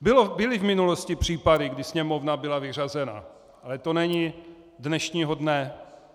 Byly v minulosti případy, kdy Sněmovna byla vyřazena, ale to není dnešního dne.